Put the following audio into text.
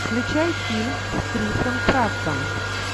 включай фильм с крисом праттом